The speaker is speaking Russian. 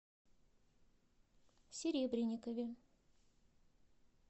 серебренникове